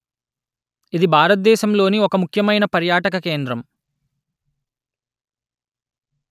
ఇది భారతదేశంలోని ఒక ముఖ్యమైన పర్యాటక కేంద్రం